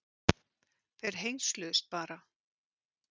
Þeir hengsluðust bara.